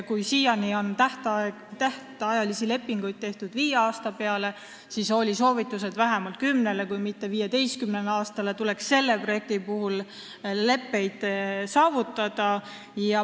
Kui siiani on tähtajalisi lepinguid tehtud viie aasta peale, siis selle projekti puhul anti soovitus, et lepped tuleks sõlmida vähemalt kümne, kui mitte 15 aasta peale.